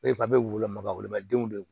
a bɛ woloma woloma denw de ye